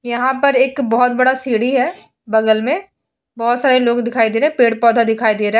यहां पर एक बोहोत बड़ा सीढ़ी है बगल में। बोहोत सारे लोग दिखाई दे रहे हैं। पेड़-पौधा दिखाई दे रहा है।